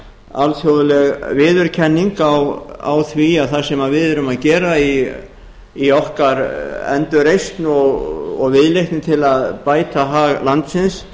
alþjóðleg viðurkenning á því að það sem við erum að gera í okkar endurreisn og viðleitni til að bæta hag landsins